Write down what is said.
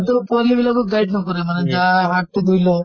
ৰো পোৱালী বিলাকক guide নকৰে মানে । গা হাত তো ধুই ল